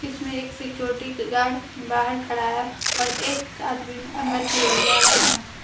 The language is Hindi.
इसमें एक सिक्योरिटी गार्ड बाहर खड़ा है और एक आदमी अंदर की ओर जा इसके रहा हैं।